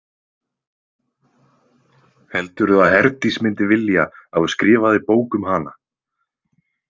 Heldurðu að Herdís myndi vilja að þú skrifaðir bók um hana?